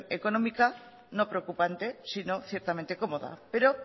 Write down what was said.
económica no preocupante sino ciertamente cómoda pero